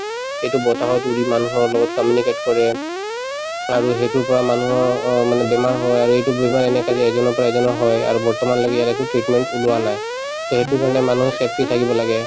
এইটো বতাহৰ লগত উৰি মানুহৰ লগত communicate কৰে আৰু সেইটোৰ পৰা মানুহৰ অ মানে বেমাৰ হয় আৰু এইটো বেমাৰ এনেকে যে এজনৰ পৰা এজনৰ হয় আৰু বৰ্তমানলেকি ইয়াৰ একো treatment ওলোৱা নাই to সেইটো কাৰণে মানুহে safety থাকিব লাগে